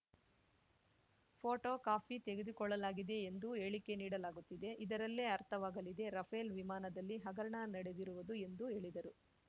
photo copy ತೆಗೆದುಕೊಳ್ಳಲಾಗಿದೆ ಎಂದು ಹೇಳಿಕೆ ನೀಡಲಾಗುತ್ತಿದೆ ಇದರಲ್ಲೇ ಅರ್ಥವಾಗಲಿದೆ ರಫೇಲ್ ವಿಮಾನದಲ್ಲಿ ಹಗರಣ ನಡೆದಿರುವುದು ಎಂದು ಹೇಳಿದರು